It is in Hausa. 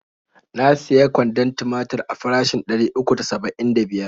Na siya kwandon timatir a farashin ɗari uku da saba'in da biyar.